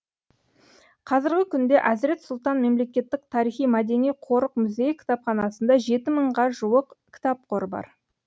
қазіргі күнде әзірет сұлтан мемлекеттік тарихи мәдени қорық музейі кітапханасында жеті мыңға жуық кітап қоры бар